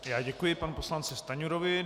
Já děkuji panu poslanci Stanjurovi.